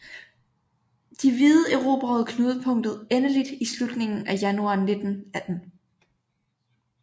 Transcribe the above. De hvide erobrede knudepunktet endeligt i slutningen af januar 1918